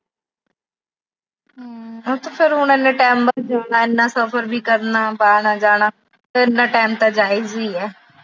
ਉਹ ਤਾਂ ਹੁਣ ਇੰਨੇ time ਬਾਅਦ ਜਾਣਾ, ਇੰਨਾ ਸਫਰ ਵੀ ਕਰਨਾ, ਆਣਾ-ਜਾਣਾ, ਫਿਰ ਇੰਨਾ time ਤਾਂ ਜਾਇਜ ਈ ਆ।